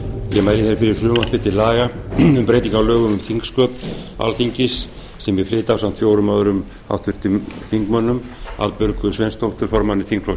ég mæli fyrir frumvarpi til laga um breytingu á lögum um þingsköp alþingis sem ég flyt ásamt fjórum öðrum háttvirtum þingmönnum arnbjörgu sveinsdóttur formanni þingflokks